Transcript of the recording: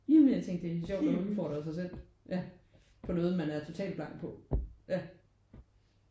Ja men jeg tænkte det er sjovt at udfordre sig selv ja på noget man er total blank på ja